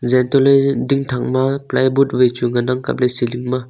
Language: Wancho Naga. zeh antoh ley ding thakma plywood ngan ang kap ley sealing ma.